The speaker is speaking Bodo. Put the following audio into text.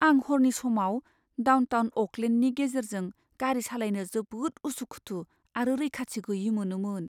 आं हरनि समाव डाउनटाउन अ'कलेन्डनि गेजेरजों गारि सालायनो जोबोद उसु खुथु आरो रैखाथि गैयै मोनोमोन।